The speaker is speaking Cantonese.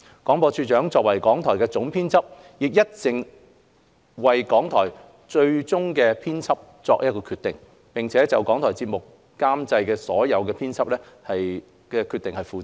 廣播處長作為港台的總編輯，亦一直為港台作最終編輯決定，並就港台節目監製所作的編輯決定負責。